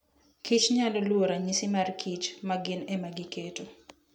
kich nyalo luwo ranyisi mar kich ma gin ema giketo.